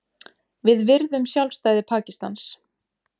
Við virðum sjálfstæði Pakistans